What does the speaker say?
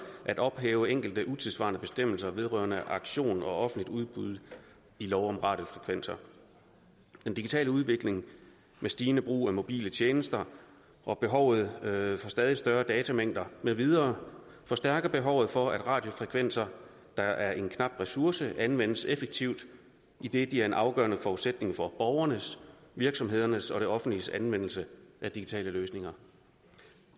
at ophæve enkelte utidssvarende bestemmelser vedrørende auktion og offentligt udbud i lov om radiofrekvenser den digitale udvikling med stigende brug af mobile tjenester og behovet for stadig større datamængder med videre forstærker behovet for at radiofrekvenser der er en knap ressource anvendes effektivt idet de er en afgørende forudsætning for borgernes virksomhedernes og det offentliges anvendelse af digitale løsninger